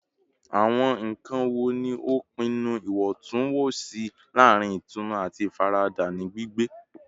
Awọn nkan wo ni o pinnu iwọntunwọnsi laarin itunu ati ifarada ni gbigbe?